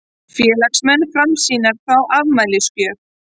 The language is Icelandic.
Félagsmenn Framsýnar fá afmælisgjöf